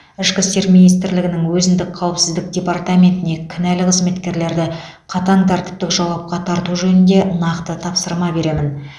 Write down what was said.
ішкі істер министрлігінің өзіндік қауіпсіздік департаментіне кінәлі қызметкерлерді қатаң тәртіптік жауапқа тарту жөнінде нақты тапсырма беремін